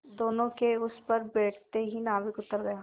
दोेनों के उस पर बैठते ही नाविक उतर गया